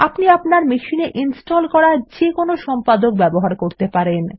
আপনি আপনার মেশিনে ইনস্টল করা যে কোন সম্পাদক ব্যবহার করতে পারেন